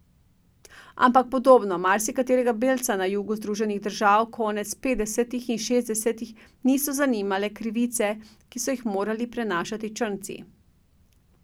Ampak podobno marsikaterega belca na jugu Združenih držav konec petdesetih in šestdesetih niso zanimale krivice, ki so jih morali prenašati črnci.